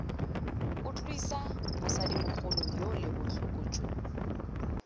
utlwisa mosadimogolo yole botlhoko jo